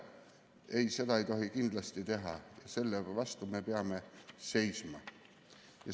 Ei, seda ei tohi kindlasti teha, selle vastu me peame seisma.